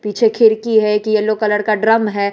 पीछे खिड़की है कि येलो कलर का ड्रम है।